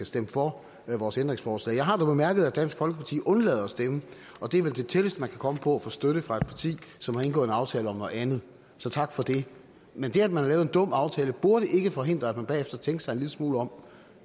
stemme for vores ændringsforslag jeg har dog bemærket at dansk folkeparti vil undlade at stemme og det er vel det tætteste man kan komme på at få støtte fra et parti som har indgået en aftale om noget andet så tak for det men det at man har lavet en dum aftale burde ikke forhindre at man bagefter tænkte sig en lille smule om